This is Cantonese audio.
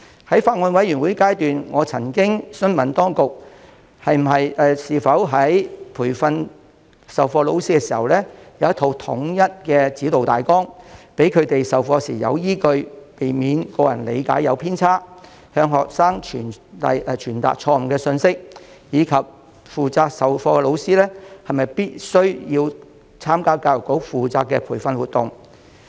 在法案委員會進行審議的階段，我曾詢問當局有否在培訓授課老師方面制訂一套統一的指導大綱，讓他們在授課時有所依據，避免個人理解出現偏差，向學生傳達錯誤信息，而負責授課的老師又是否必須參加教育局負責的培訓活動。